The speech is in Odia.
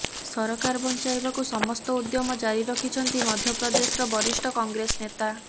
ସରକାର ବଞ୍ଚାଇବାକୁ ସମସ୍ତ ଉଦ୍ୟମ ଜାରି ରଖିଛନ୍ତି ମଧ୍ୟପ୍ରଦେଶର ବରିଷ୍ଠ କଂଗ୍ରେସ ନେତା